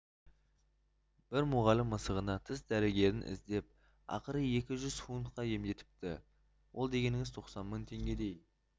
бір мұғалім мысығына тіс дәрігерін іздеп ақыры екі жүз фунтқа емдетіпті ол дегеніңіз тоқсан мың теңгедей